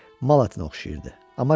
Mal ətinə oxşayırdı.